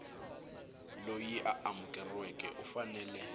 loyi a amukeriweke u fanele